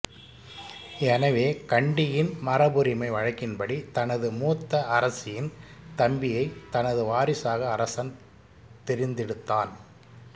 எனவே கண்டியின் மரபுரிமை வழக்கின்படி தனது மூத்த அரசியின் தம்பியைத் தனது வாரிசாக அரசன் தெரிந்தெடுத்தான்